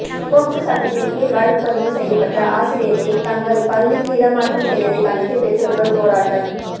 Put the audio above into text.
POCSO சட்டத்தின் கீழ் வழக்குப்பதிவு செய்யப்பட்ட ஆசிரியரை தங்கள் பள்ளிக்கு இடமாற்றம் செய்ததை கண்டித்து பெற்றோர்கள் போராட்டம்